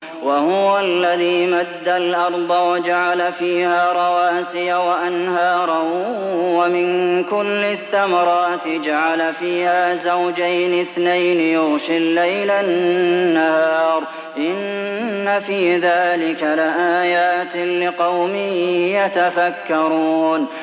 وَهُوَ الَّذِي مَدَّ الْأَرْضَ وَجَعَلَ فِيهَا رَوَاسِيَ وَأَنْهَارًا ۖ وَمِن كُلِّ الثَّمَرَاتِ جَعَلَ فِيهَا زَوْجَيْنِ اثْنَيْنِ ۖ يُغْشِي اللَّيْلَ النَّهَارَ ۚ إِنَّ فِي ذَٰلِكَ لَآيَاتٍ لِّقَوْمٍ يَتَفَكَّرُونَ